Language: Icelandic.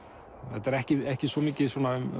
þetta er ekki ekki svo mikið